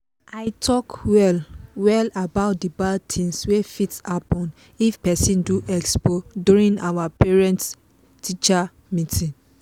i talk well well about the bad things wey fit happen if person do expo during our parent-teacher meeting.